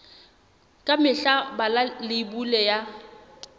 ka mehla bala leibole ya